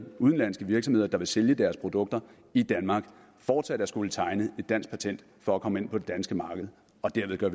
udenlandske virksomheder der vil sælge deres produkter i danmark fortsat at skulle tegne et dansk patent for at komme ind på det danske marked og derved gør